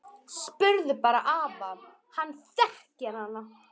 Spurðu bara afa, hann þekkir hana!